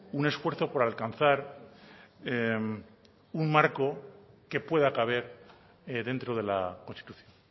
un esfuerzo por alcanzar un marco que pueda caber dentro de la constitución